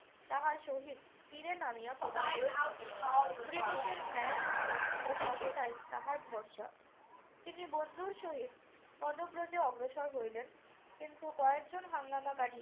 তাহার সহিত তীরে নামিয়া পড়িলেন। ব্রিটিশের ন্যায়বুদ্ধি ও সততায় তাহার ভরসা। তিনি বন্ধুর সহিত পদব্রজে অগ্রসর হইলেন। কিন্তু কয়েকজন হাঙ্গামাকারী